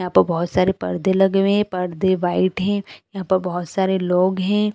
यहाँ पर बहुत सारे पर्दे लगे हुए है पर्दे वाइट है यहाँ पे बहुत सारे लोग हैं।